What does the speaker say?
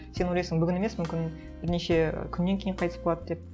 сен ойлайсың бүгін емес мүмкін бірнеше күннен кейін қайтыс болады деп